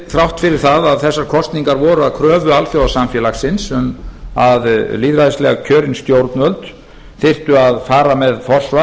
þrátt fyrir að þessar kosningar voru að kröfu alþjóðasamfélagsins um að lýðræðislega kjörin stjórnvöld þyrftu að fara með forsvar